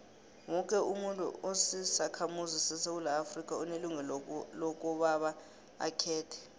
woke umuntu osisakhamuzi sesewula afrika unelungelo lokobaba akhethe